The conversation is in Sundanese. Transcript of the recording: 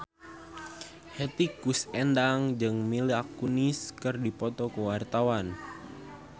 Hetty Koes Endang jeung Mila Kunis keur dipoto ku wartawan